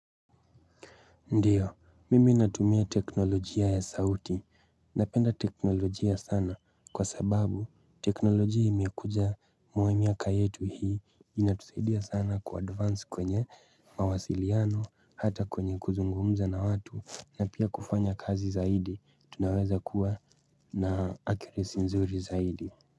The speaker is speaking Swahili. Ndio mimi natumia teknolojia ya sauti napenda teknolojia sana kwa sababu teknolojia imekuja mwe miaka yetu hii inatusaidia sana ku advance kwenye mawasiliano hata kwenye kuzungumza na watu na pia kufanya kazi zaidi tunaweza kuwa na accuracy nzuri zaidi.